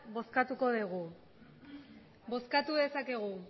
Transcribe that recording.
bozkatuko dugu bozkatu dezakegu